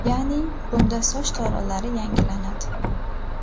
Ya’ni, bunda soch tolalari yangilanadi.